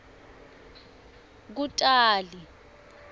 kutali